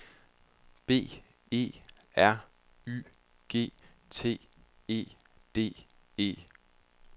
B E R Y G T E D E